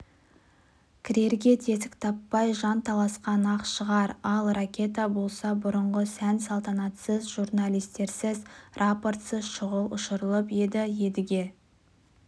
кірерге тесік таппай жанталасқан-ақ шығар ал ракета болса бұрынғы сән-салтанатсыз журналистерсіз рапортсыз шұғыл ұшырылып еді едіге